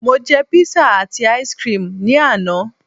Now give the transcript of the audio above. mo je pizza ati ice cream ni ana